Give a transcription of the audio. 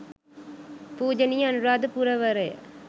පූජනීය අනුරාධපුරවරය,